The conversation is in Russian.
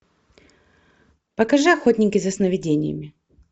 покажи охотники за сновидениями